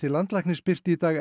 landlæknis birti í dag